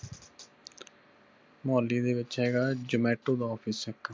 ਮੁਹਾਲੀ ਦੇ ਵਿਚ ਹੇਗਾ zomato ਦਾ office ਇਕ